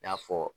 I n'a fɔ